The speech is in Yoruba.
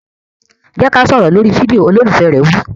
Jẹ́ ká sọ̀rọ̀ lórí fídíò! Olólùfẹ́ rẹ̀ wí.